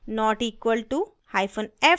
!= not equal to f hyphen f